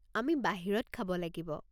আমি বাহিৰত খাব লাগিব।